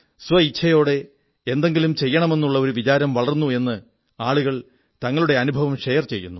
സ്വേച്ഛയോടെ എന്തെങ്കിലും ചെയ്യണമെന്നുള്ള ഒരു വിചാരം വളർന്നു എന്ന് ആളുകൾ തങ്ങളുടെ അനുഭവം ഷെയർ ചെയ്യുന്നു